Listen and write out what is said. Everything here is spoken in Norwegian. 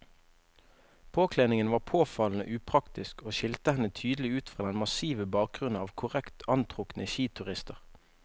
Påkledningen var påfallende upraktisk og skilte henne tydelig ut fra den massive bakgrunnen av korrekt antrukne skiturister.